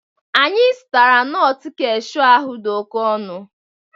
Anyị zụtara nut cashew ahụ dị oke ọnụ